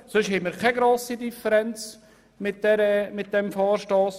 Sonst haben wir keine grosse Differenz bezüglich dieses Vorstosses.